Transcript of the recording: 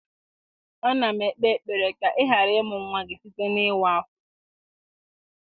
A na m ekpe ekpere ka ị ghara ịmụ nwa gị site n'ịwa afọ.